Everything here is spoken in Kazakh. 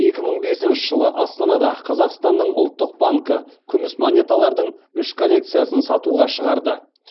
екі мың бесінші жылы астанада қазақстанның ұлттық банкі күміс монеталардың үш коллекциясын сатуға шығарды